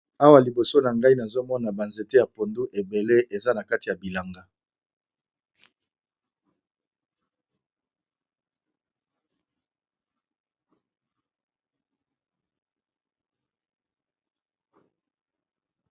Awa liboso na ngai nazo mona ba nzete ya pondu ebele eza na kati ya bilanga.